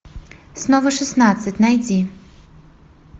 снова шестнадцать найди